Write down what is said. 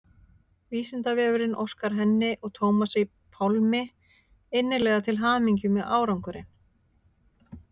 Vísindavefurinn óskar henni og Tómasi Pálmi innilega til hamingju með árangurinn.